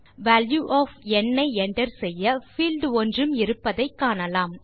value of n i enter செய்ய field ஒன்றும் இருப்பதை காணலாம்